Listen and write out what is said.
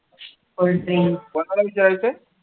cold drinks कोणाला विचारत आहे?